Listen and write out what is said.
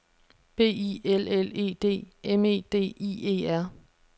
B I L L E D M E D I E R